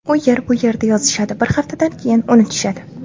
U yer - bu yerda yozishadi, bir haftadan keyin unutishadi.